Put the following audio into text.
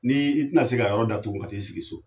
N' i tina se ka yɔrɔ datugule ka t'igi sigi so